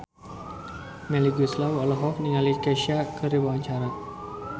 Melly Goeslaw olohok ningali Kesha keur diwawancara